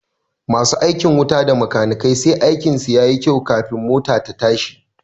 Masu aikin wuta da makanikai sai aikin su yayi kyau kafin mota ta tashi